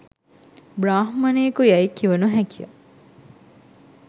බ්‍රාහ්මණයෙකු යැයි කිව නොහැකිය